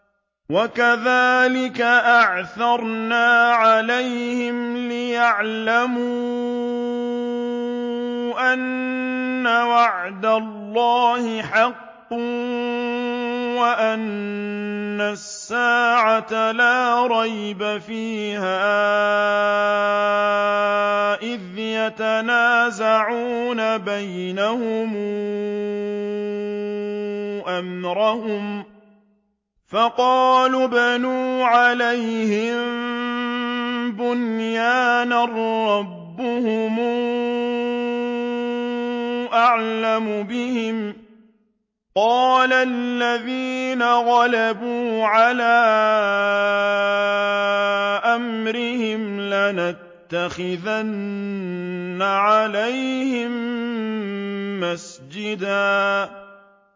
وَكَذَٰلِكَ أَعْثَرْنَا عَلَيْهِمْ لِيَعْلَمُوا أَنَّ وَعْدَ اللَّهِ حَقٌّ وَأَنَّ السَّاعَةَ لَا رَيْبَ فِيهَا إِذْ يَتَنَازَعُونَ بَيْنَهُمْ أَمْرَهُمْ ۖ فَقَالُوا ابْنُوا عَلَيْهِم بُنْيَانًا ۖ رَّبُّهُمْ أَعْلَمُ بِهِمْ ۚ قَالَ الَّذِينَ غَلَبُوا عَلَىٰ أَمْرِهِمْ لَنَتَّخِذَنَّ عَلَيْهِم مَّسْجِدًا